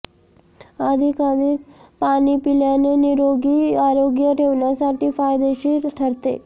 अधिकाधिक पाणी पिल्याने निरोगी आरोग्य ठेवण्यासाठी फायदेशीर ठरते